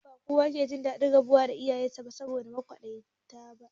Ba kowa ke jin daɗin barin 'ya'yansu da maƙwabta ba